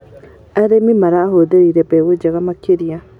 Arĩmi marahũthĩrire mbegũ njega makĩria.